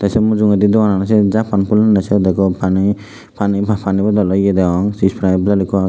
tey sei mujungedi doganano sini jappan hullonney se degong pani pani bodolo yea degong sprite bottle ekku agey.